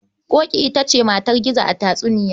Ƙoƙi ita ce matar Gizo a tatsuniya.